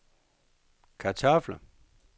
kartofler